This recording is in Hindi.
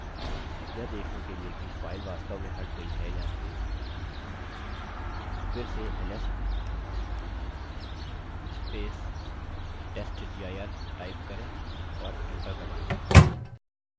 यह देखने के लिए कि file वास्तव में हट गई है या नहीं फिर से ls testdir टाइप करें और enter दबायें